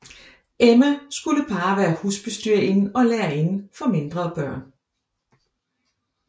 Emma skulle bare være husbestyrerinde og lærerinde for mindre børn